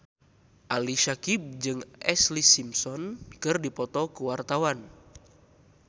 Ali Syakieb jeung Ashlee Simpson keur dipoto ku wartawan